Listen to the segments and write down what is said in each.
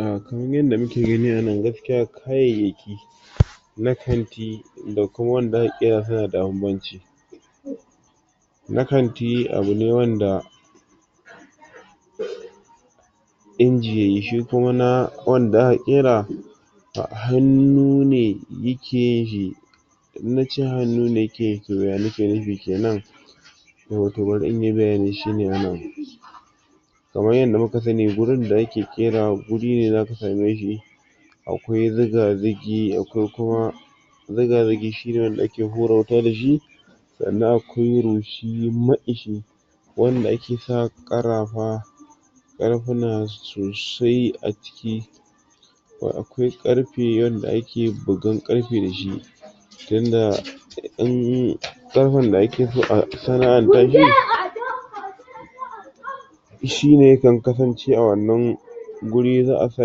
Ah kamar yadda muke gani a nan gaskiya kayayyaki na kanti da kuma wanda aka ƙera suna da banbanci na kanti abu ne wanda inji yayi, shi kuma na wanda aka ƙera hannu ne yake yin shi in nace hannu ne yake yi, to ya nake nufi kenan to, to barin in yi bayani shine wannan kamar yadda muka sani, gurin da yake ƙerawar, gurin ne zaka same shi akwai zigazigi akwai kuma zigazigi shine wanda ake hura wuta dashi sannan akwai rushi maƙishi wanda ake sa ƙarafa ƙarfuna sosai a cikin ko akwai ƙarfe wanda ake bugar ƙarfe dashi tunda in ƙarfen da ake so a sana'an tashi noise um shine yakan kasance a wannan wurin za'a sa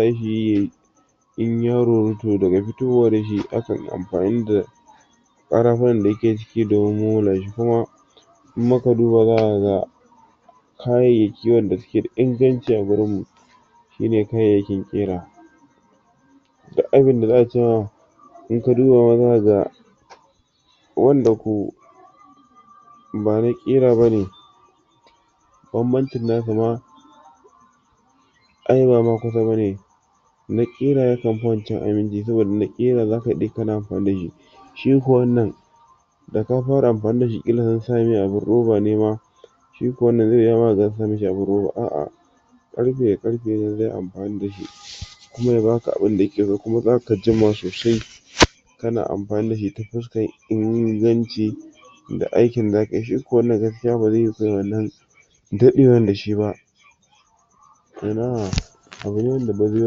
shi yayi in ya ruru to daga fitowa da shi, akan yi amfani da ƙarafunan da yake cikin domin momolashi kuma idan muka duba zamu ga kayayyaki wanda suke da inganci a wurin mu shine kayayyakin ƙira duk abinda za'a ce ma in ka duba ma zaka ga wanda ko bana ƙira bane banbancin nasu ma ai bama kusa bane na ƙira yakan fi wancan aminci saboda na ƙira zaka daɗe kana amfani shi shi kuwa wannan da ka fara amfani dashi, ƙila sun sa mai roba ne ma shi kuwa wannan zai iya yiyuwa ma kaga ansa mashi abun roba, aa ƙarfe da ƙarfe ne zai amfani dashi kuma ya baka abinda ake so, kuma zaka jima sosai kana amfani dashi ta fuskar inganci da aikin da zakayi, shi kuwa wannan gaskiya ba zai yiyu kai wannan daɗewar dashi ba Ina! abune wanda bazai yiyi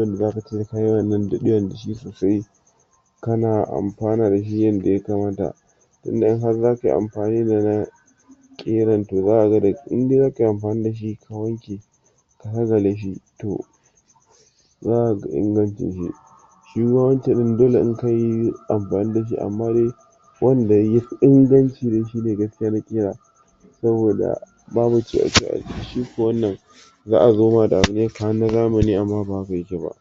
wanda zaka ce sai kayi wannan daɗewa dashi sosai kana amfana dashi yadda ya kamata tunda in har zakayi amfani da na ƙiran, to zaka ga, idai zakayi amfani dashi sai ka wanke ka ƙaƙale shi, to za kaga ingancin shi shima wancan ɗin, dole in kayi amfani dashi, amma dai wanda yafi inganci dai, shine gaskiya na ƙira saboda babu a ciki, shi kuwa wannan za'a zo ma da abu ne kamar na zamani amma ba haka yake ba.